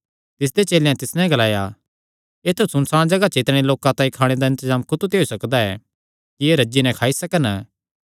तिसदे चेलेयां तिस नैं ग्लाया ऐत्थु सुनसाण जगाह च इतणे लोकां तांई खाणे दा इंतजाम कुत्थू ते होई सकदा ऐ कि एह़ रज्जी नैं खाई सकन